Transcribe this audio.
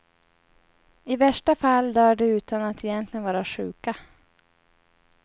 I värsta fall dör de utan att egentligen vara sjuka.